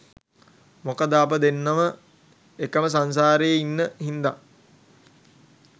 මොකද අප දෙන්නම එකම සංසාරේ ඉන් හින්දා